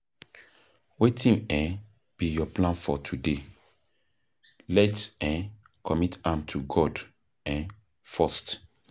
Wetin um be your plan for today? Let’s um commit am to God um first.